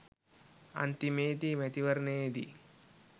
අන්තිමේ දී මේ මැතිවරණයේදී